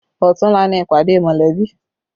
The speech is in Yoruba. Ọ̀tunla ni ìpàdé mọ̀lẹ́bí